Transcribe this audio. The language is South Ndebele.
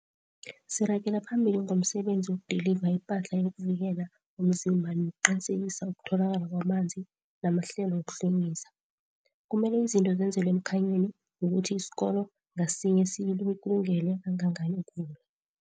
Siragela phambili ngomsebenzi wokudiliva ipahla yokuvikela umzimba nokuqinisekisa ukutholakala kwamanzi namahlelo wokuhlwengisa. Kumele izinto zenzelwe emkhanyweni ngokuthi isikolo ngasinye sikulungele kangangani ukuvula.